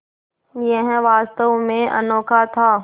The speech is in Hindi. यह वास्तव में अनोखा था